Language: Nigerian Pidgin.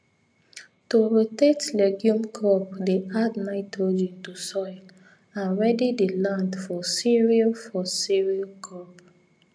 to rotate legume crop dey add nitrogen to soil and ready the land for cereal for cereal crop